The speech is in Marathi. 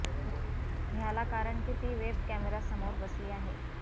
ह्याला कारण की ती वेब कैमरा समोर बसली आहे